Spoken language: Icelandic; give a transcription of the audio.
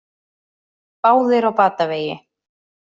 Báðir á batavegi